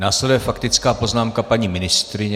Následuje faktická poznámka paní ministryně.